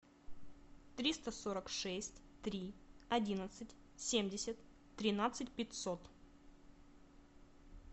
триста сорок шесть три одиннадцать семьдесят тринадцать пятьсот